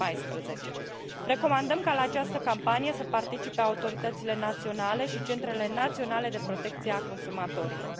2014. Recomandăm ca la această campanie să participe autoritățile naționale și centrele naționale de protecție a consumatorilor.